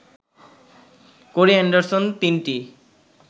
কোরি Anderson তিনটি